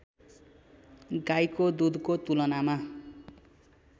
गाईको दूधको तुलनामा